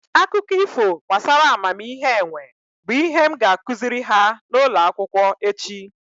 Akụkọ ifo gbasara amamihe enwe bụ ihe m ga-akụziri ha n'ụlọ akwụkwọ echi